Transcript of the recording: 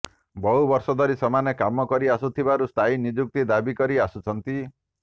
ବହୁ ବର୍ଷ ଧରି ସେମାନେ କାମ କରିଆସୁଥିବାରୁ ସ୍ଥାୟୀ ନିଯୁକ୍ତି ଦାବିକରି ଆସୁଛନ୍ତି